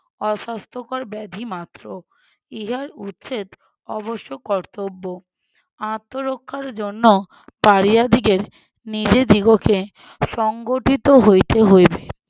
অস্বাস্থ্যকর ব্যাধি মাত্র ইহার উচ্ছেদ অবশ্য কর্তব্য। আত্মরক্ষার জন্য পাড়িয়াদিগের নিজেদিগকে সংগঠিত হইতে হইবে।